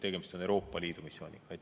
Tegemist on Euroopa Liidu missiooniga.